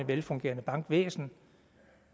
velfungerende bankvæsen